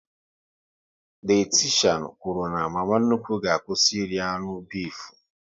Dayatishan kwụrụ na mama nnukwu ga-akwụsị iri anụ bifu